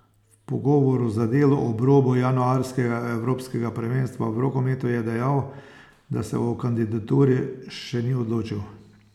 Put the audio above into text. V pogovoru za Delo ob robu januarskega evropskega prvenstva v rokometu je dejal, da se o kandidaturi še ni odločil.